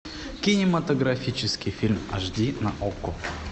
кинематографический фильм аш ди на окко